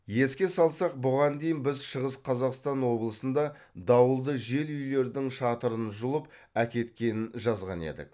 еске салсақ бұған дейін біз шығыс қазақстан облысында дауылды жел үйлердің шатырын жұлып әкеткенін жазған едік